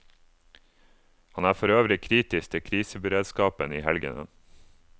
Han er forøvrig kritisk til kriseberedskapen i helgene.